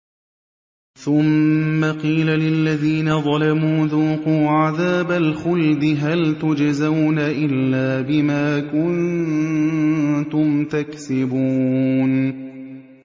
ثُمَّ قِيلَ لِلَّذِينَ ظَلَمُوا ذُوقُوا عَذَابَ الْخُلْدِ هَلْ تُجْزَوْنَ إِلَّا بِمَا كُنتُمْ تَكْسِبُونَ